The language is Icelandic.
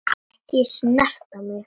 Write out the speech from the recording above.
Ekki snerta mig.